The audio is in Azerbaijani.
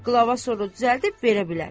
Qlava soru düzəldib verə bilər.